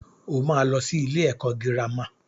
Ó máa lọ sí ilé ẹ̀kọ́ girama.